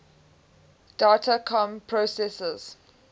data comm processors